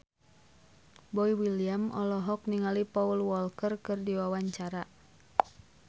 Boy William olohok ningali Paul Walker keur diwawancara